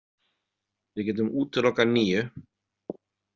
Við getum útilokað níu.